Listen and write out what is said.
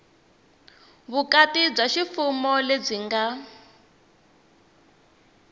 vukati bya ximfumo lebyi nga